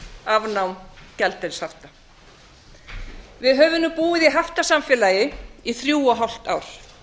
afnám gjaldeyrishafta við höfum nú búið í haftasamfélagi í þrjú og hálft ár